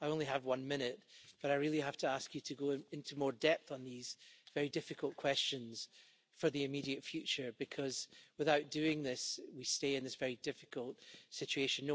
I only have one minute, but I really have to ask you to go into more depth on these very difficult questions for the immediate future, because without doing this, we stay in this very difficult situation.